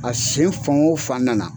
A sen fan o fan nana